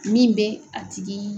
Min bɛ a tigii